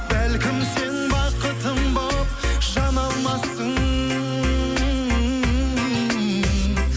бәлкім сен бақытым болып жана алмассың